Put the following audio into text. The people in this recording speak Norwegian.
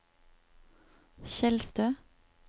Tjeldstø